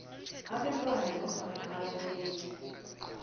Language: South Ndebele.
abantwana nofana ababelethi